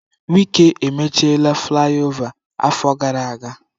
Wike mech flaiova afọ gara aga.